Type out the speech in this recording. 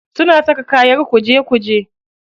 Suna saka kayan kuje kuje.